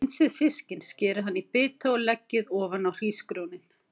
Hreinsið fiskinn, skerið hann í bita og leggið ofan á hrísgrjónin.